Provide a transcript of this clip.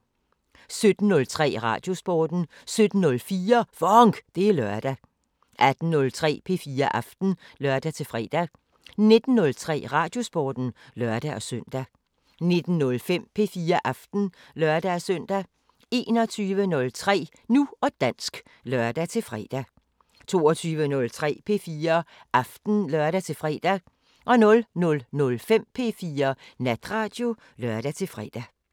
17:03: Radiosporten 17:04: FONK! Det er lørdag 18:03: P4 Aften (lør-fre) 19:03: Radiosporten (lør-søn) 19:05: P4 Aften (lør-søn) 21:03: Nu og dansk (lør-fre) 22:03: P4 Aften (lør-fre) 00:05: P4 Natradio (lør-fre)